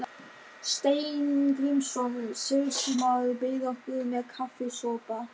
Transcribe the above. Steingrímsson sýslumaður beið okkar með kaffisopa.